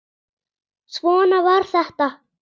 Svona var þetta.